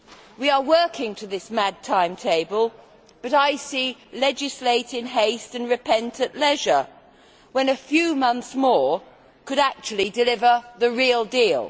We are working to this mad timetable, but I see this as legislate in haste and repent at leisure' when a few months more could actually deliver the real deal.